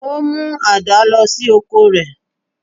Ó mú àdá lọ sí oko rẹ̀